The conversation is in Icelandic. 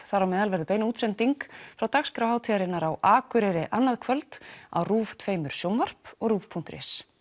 þar á meðal verður bein útsending frá dagskrá hátíðarinnar á Akureyri annað kvöld á tveggja sjónvarp og Rúv punktur is